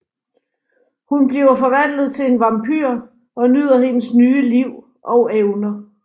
Hun bliver forvandlet til en vampyr og nyder hendes nye liv og evner